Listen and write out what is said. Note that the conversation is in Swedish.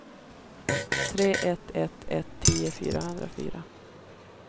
tre ett ett ett tio fyrahundrafyra